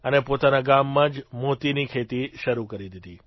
અને પોતાના ગામમાં જ મોતીની ખેતી શરૂ કરી દીધી